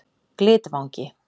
Glitvangi